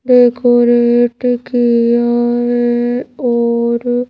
decorate किया है और--